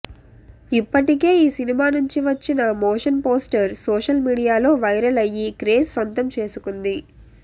ఇప్పటికే ఈ సినిమా నుంచి వచ్చిన మోషన్ పోస్టర్ సోషల్ మీడియాలో వైరల్ అయ్యి క్రేజ్ సొంతం చేసుకుంది